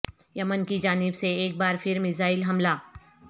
یمن کی جانب سے ایک بار پھر میزائل حملہ